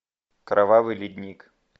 кровавый ледник